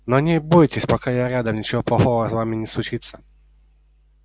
но не бойтесь пока я рядом ничего плохого с вами не случится